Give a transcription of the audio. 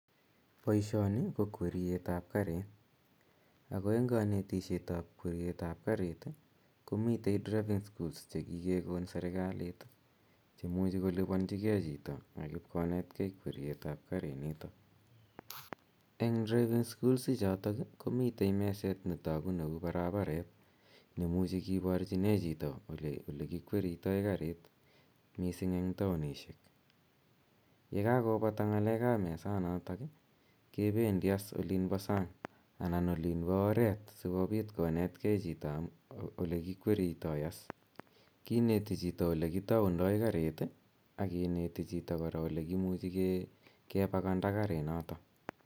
Poishoni ko kweriet p kariit. Ako eng' kanetishaniap kariit ko mitei driving schools che kikekon serkalit che muchimkolipanchigei chito ak ipkonetgei kweriet ap karinitok. Eng' driving schools ichutok komitei meset ne tagu ne u paraparet ne imuchi kiparchinei chito ole kikweritai karit, missing' ko eng' taonishek. Ye kakopata ng'alek ap mesanatak kependi as olin pa sang' anan olin pa oret asikopit konetgei chito ole kikweritai as. Kineti hito ole kitaundai kariit i, ak kineti chito kora ole kimuchi kepakanda karinotok.